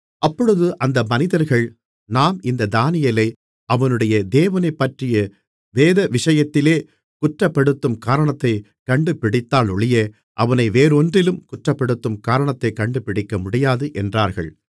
அப்பொழுது அந்த மனிதர்கள் நாம் இந்த தானியேலை அவனுடைய தேவனைப்பற்றிய வேதவிஷயத்திலே குற்றப்படுத்தும் காரணத்தைக் கண்டுபிடித்தாலொழிய அவனை வேறொன்றிலும் குற்றப்படுத்தும் காரணத்தைக் கண்டுபிடிக்கமுடியாது என்றார்கள்